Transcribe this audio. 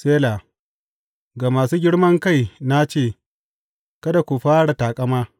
Sela Ga masu girman kai na ce, Kada ku ƙara taƙama,’